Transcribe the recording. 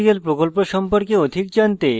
spoken tutorial প্রকল্প সম্পর্কে অধিক জানতে;